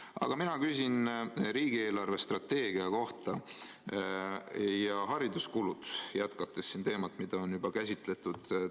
Aga mina küsin riigi eelarvestrateegia kohta, jätkates teemat, mida siin on juba käsitletud – hariduskulud.